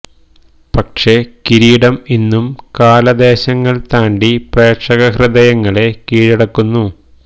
പക്ഷേ കിരീടം ഇന്നും കാല ദേശങ്ങള് താണ്ടി പ്രേക്ഷക ഹൃദയങ്ങളെ കീഴടക്കുന്നു